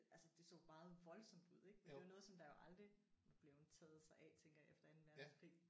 Altså det så meget voldsomt ud ik men det er jo noget som der jo aldrig var blevet taget sig af tænker jeg efter anden verdenskrig